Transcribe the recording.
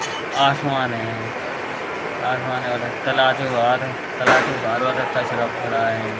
आसमान है। आसमान है उधर ताला के बाद ताला के बाद लफड़ा है।